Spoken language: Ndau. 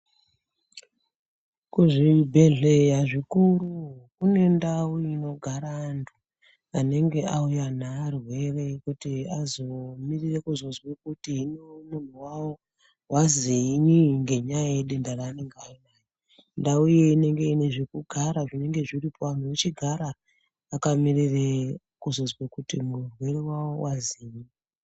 Kuzvibhedhleya zvikuru kune ndau inogara antu anenge auya nearwere kuti azomirire kuzozwe kuti hino munhu wawo wazinyi ngenyaya yedenda raanenge ainaro. Ndau iyona inenge ine zvekugara zvinenge zviripo vanhu vechigara vakamirire kuzozwe kuti muwere wawo wazii.